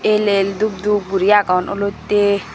elel dubdub guro agon olottey.